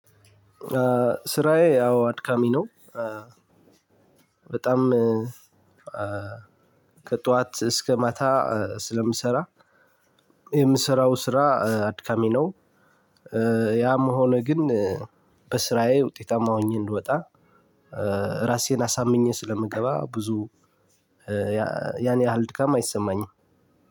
ስራዬ አዎ አድካሚ ነው። በጣም ከጠዋት እስከ ማታ ስለምሰራ የምሰራው ስራ አድካሚ ነው። ያም ሆነ ግን በስራዬ ውጤታማ ሆኜ እንድወጣ። ራሴን አሳምኜ ስለምገባ ብዙ ያን ያህል ድካም አይሰማኝም።